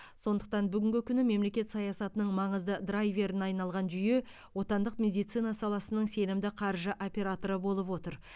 сондықтан бүгінгі күні мемлекет саясатының маңызды драйверіне айналған жүйе отандық медицина саласының сенімді қаржы операторы болып отыр